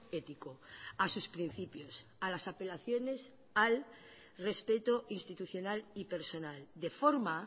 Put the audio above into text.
ético a sus principios a las apelaciones al respeto institucional y personal de forma